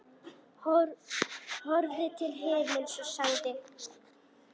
Horfði til himins og sagði: